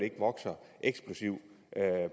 vokser eksplosivt